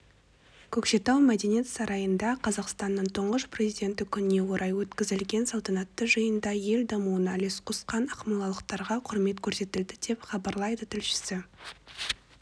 көкшетау мәдениет сарайында қазақстанның тұңғыш президенті күніне орай өткізілген салтанатты жиында ел дамуына үлес қосқан ақмолалықтарға құрмет көрсетілді деп хабарлайды тілшісі